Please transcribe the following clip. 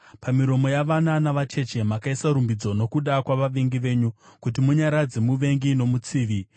Pamiromo yavana navacheche makaisa rumbidzo nokuda kwavavengi venyu, kuti munyaradze muvengi nomutsivi.